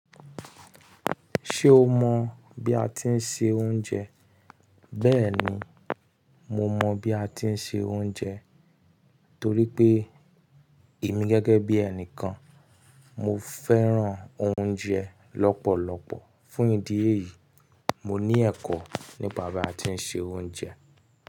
Ṣé o mọ̀ bí a ti ń se oúnjẹ bẹ́ẹ̀ni, mo mọ̀ bí a ti ń se oúnjẹ torí pé èmi gẹ́gẹ́ bí ẹnìkan, mo fẹ́ràn oúnjẹ lọ́pọ̀lọpọ̀. Fún ìdí èyí, mo ní ẹ̀kọ́ nípa bí a ti ń se oúnjẹ.